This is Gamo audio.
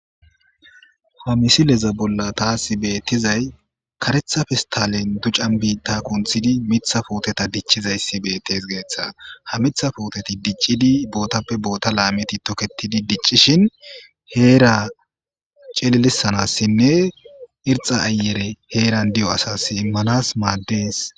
Ha misileza bolla taasi betizaysi karetha pestaleni ducani biita kunthidi Mitha puteta dicizaysi betesi. Ha Mitha puuteti dicidi botappe boota kaameti toketidi dicishini heera cililisanasinne irxa ayere heeran diya asasi imanasi maadesi.